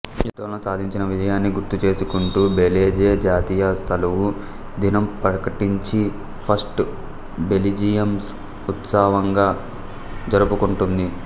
యుద్ధంలో సాధించిన విజయాన్ని గుర్తుచేసుకుంటూ బెలిజే జాతీయశలవు దినం ప్రకటించి ఫస్ట్ బెలిజియంస్ ఉత్సవంగా జరుపుకుంటుంది